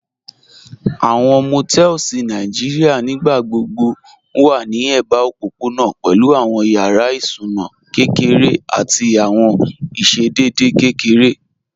Àwọn Motels Nàìjíríà nígbàgbọ̀bọ̀ wà ní èbà òpópọ̀nà pẹ̀lú àwọn yàrá ìsúnà kẹkẹrẹ̀ àti àwọn ìṣẹ̀dẹ̀dẹ̀ kẹkẹrẹ̀